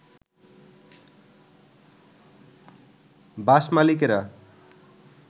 বাস মালিকেরা